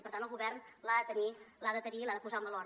i per tant el govern l’ha de tenir l’ha de tenir i l’ha de posar en valor